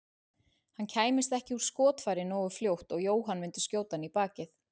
Hann kæmist ekki úr skotfæri nógu fljótt og Jóhann myndi skjóta hann í bakið.